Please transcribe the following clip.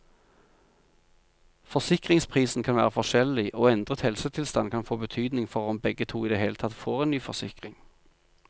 Forsikringsprisen kan være forskjellig, og endret helsetilstand kan få betydning for om begge to i det hele tatt får en ny forsikring.